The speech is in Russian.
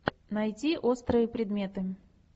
найти острые предметы